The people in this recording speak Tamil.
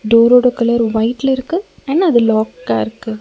டோரோட கலர் வொய்ட்லருக்கு அண்ட் அது லாக்காருக்கு .